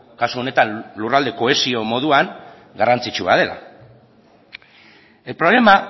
kasu honetan lurralde kohesio moduan garrantzitsua dela el problema